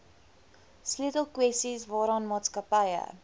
sleutelkwessies waaraan maatskappye